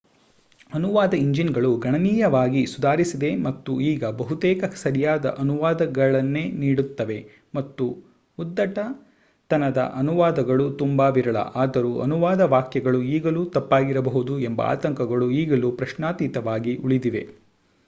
ಅನುವಾದ ಎಂಜಿನ್‌ಗಳು ಗಣನೀಯವಾಗಿ ಸುಧಾರಿಸಿದೆ ಮತ್ತು ಈಗ ಬಹುತೇಕ ಸರಿಯಾದ ಅನುವಾದಗಳನ್ನೇ ನೀಡುತ್ತವೆ ಮತ್ತು ಉದ್ಧಟತನದ ಅನುವಾದಗಳು ತುಂಬಾ ವಿರಳ ಆದರೂ ಅನುವಾದ ವಾಕ್ಯಗಳು ಈಗಲೂ ತಪ್ಪಾಗಿರಬಹುದು ಎಂಬ ಆತಂಕಗಳು ಈಗಲೂ ಪ್ರಶ್ನಾತೀತವಾಗಿ ಉಳಿದಿವೆ